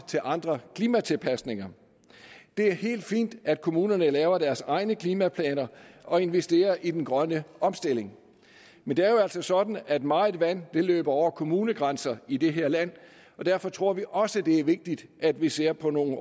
andre klimatilpasninger det er helt fint at kommunerne laver deres egne klimaplaner og investerer i den grønne omstilling men det er jo altså sådan at meget vand løber over kommunegrænserne i det her land derfor tror vi også det er vigtigt at vi ser på nogle